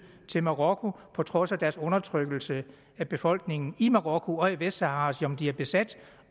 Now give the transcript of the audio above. til marokko på trods af deres undertrykkelse af befolkningen i marokko og i vestsahara som de har besat